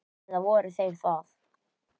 Eða voru þeir það?